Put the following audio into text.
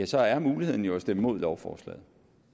så er muligheden jo at stemme imod lovforslaget